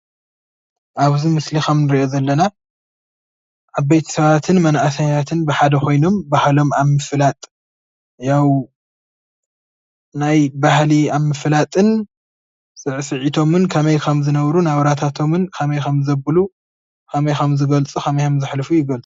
ኣብዚ ምስሊ ካብ እንሪኦ ዘለና ዓበይቲ ሰባትን መናእሰያትን ብሓደ ኮይኖም ባህሎም ኣብ ምፍላጥ ያው ናይ ባህሊ ኣብ ምፍላጥን ስዕስዒቶምን ከመይ ከምዝነበሩ ናብራታቶምን ከመይ ከምዘብሉ ከመይ ከምዝገልፁ የመልክት።